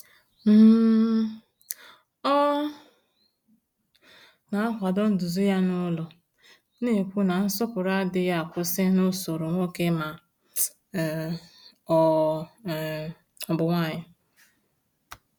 um Ọ na-akwado nduzi ya n’ụlọ, na-ekwu na nsọpụrụ adịghị akwụsị n’usoro nwoke ma um ọ um bụ nwanyị.